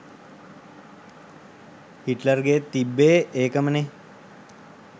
හිට්ලර්ගෙත් තිබ්බෙ ඒකමනෙ